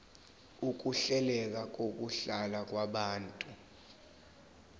ukuhleleka kokuhlala kwabantu